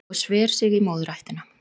Og sver sig í móðurættina